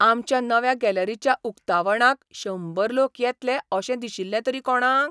आमच्या नव्या गॅलरीच्या उक्तावणाक शंबर लोक येतले अशें दिशिल्लें तरी कोणाक?